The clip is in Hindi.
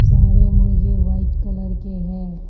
सारे मुर्गे व्हाइट कलर के है।